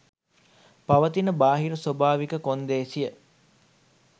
පවතින බාහිර ස්වභාවික කොන්දේසිය